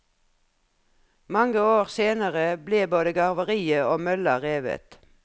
Mange år senere ble både garveriet og mølla revet.